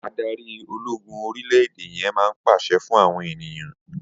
Adarí ológun orílẹ̀-èdè yẹn máa pàṣẹ fún àwọn ènìyàn.